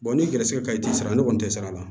n'i gɛrɛsɛgɛ ka ɲi i tɛ sara ne kɔni tɛ sara la